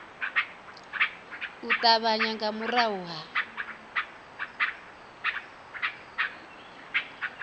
u ṱavhanya nga murahu ha